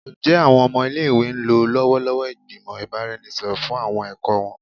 Njẹ awọn ọmọ ile-iwe lo lọwọlọwọ igbimọ ibaraenisepo fun awọn ẹkọ wọn?